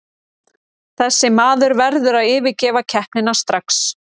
Þessi maður verður að yfirgefa keppnina strax.